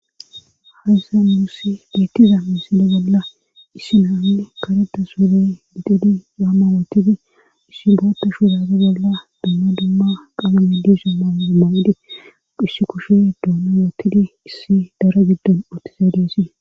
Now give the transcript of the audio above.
hahyssa muussi beettiza misile bolla issi naanne kareda suwule gixidi yaamma wootidi issi bootta shuudaata bolla dumma dumma qalamidi summa omawadi qhissi kushe duona wootidi issi dara giddon ootiza deessi